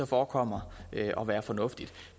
forekommer at være fornuftige